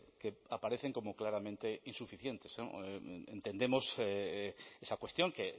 que aparecen como claramente insuficientes entendemos esa cuestión que